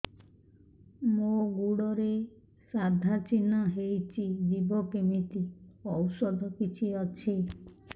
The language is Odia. ମୋ ଗୁଡ଼ରେ ସାଧା ଚିହ୍ନ ହେଇଚି ଯିବ କେମିତି ଔଷଧ କିଛି ଅଛି